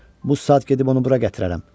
Bu saat gedib onu bura gətirərəm.